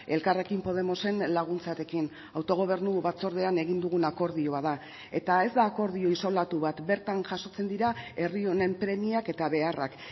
elkarrekin podemosen laguntzarekin autogobernu batzordean egin dugun akordioa da eta ez da akordio isolatu bat bertan jasotzen dira herri honen premiak eta beharrak